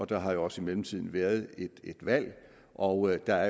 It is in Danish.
der har jo også i mellemtiden været et valg og der